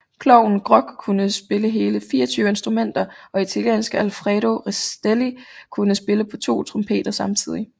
Klovnen Grock kunne spille hele 24 instrumenter og italienske Alfredo Rastelli kunne spille på to trompeter samtidigt